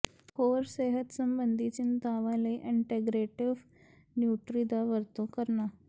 ਹੋਰ ਸਿਹਤ ਸੰਬੰਧੀ ਚਿੰਤਾਵਾਂ ਲਈ ਅੰਟੈਗਰੇਟਿਵ ਨਿਊਟਰੀ ਦੀ ਵਰਤੋਂ ਕਰਨਾ